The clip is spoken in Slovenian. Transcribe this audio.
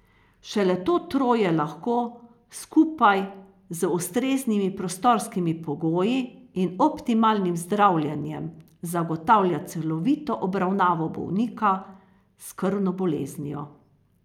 Šele to troje lahko, skupaj z ustreznimi prostorskimi pogoji in optimalnim zdravljenjem, zagotavlja celovito obravnavo bolnika s krvno boleznijo.